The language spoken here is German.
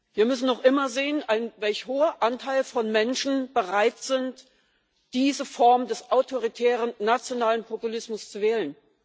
Wir müssen noch immer sehen, welch hoher Anteil von Menschen bereit ist, diese Form des autoritären nationalen Populismus zu wählen.